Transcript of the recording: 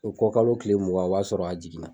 U ko kalo kile mugan o b'a sɔrɔ a jiginna.